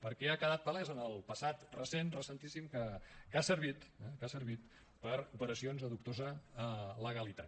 perquè ha quedat palès en el passat recent recentíssim que ha servit eh per a operacions de dubtosa legalitat